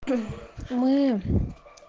мы